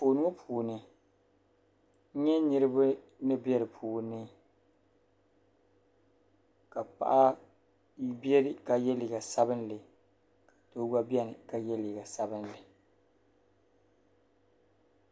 Anfooni ŋɔ puuni n nyɛ niriba ni be di puuni ka paɣa beni ka ye liiga sabinli doo gba beni ka ye liiga sabinli.